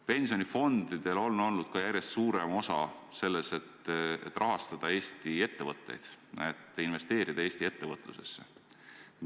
Pensionifondidel on olnud järjest suurem osa selles, et rahastada Eesti ettevõtteid, et investeerida Eesti ettevõtlusesse.